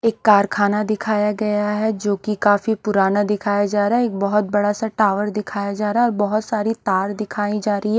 एक कारखाना दिखाया गया है जो की काफी पुराना दिखाया जा रहा है एक बहोत बड़ा सा टावर दिखाया जा रहा है बहोत सारी तार दिखाई जा रही है।